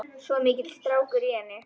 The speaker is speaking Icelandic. Svo mikill strákur í henni.